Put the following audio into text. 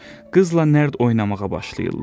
Qızla nərd oynamağa başlayırlar.